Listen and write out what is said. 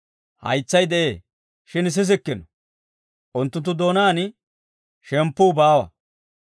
Haytsay de'ee, shin sissikkino; unttunttu doonaan shemppuu baawa.